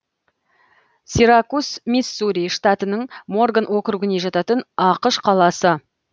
сиракус миссури штатының морган округіне жататын ақш қаласы